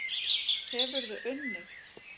Hefurðu unnið?